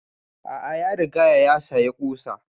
A'a ya rigaya ya sayi ƙusan